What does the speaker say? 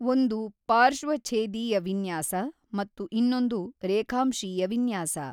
ಒಂದು ಪಾರ್ಶ್ವಛೇದೀಯ ವಿನ್ಯಾಸ ಮತ್ತು ಇನ್ನೊಂದು ರೇಖಾಂಶೀಯ ವಿನ್ಯಾಸ.